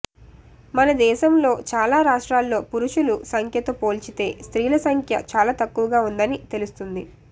మన దేశంలో చాలా రాష్ట్రాల్లో పురుషులు సంఖ్యతో పోల్చితే స్త్రీల సంఖ్య చాలా తక్కువగా ఉందని తెలుస్తుంది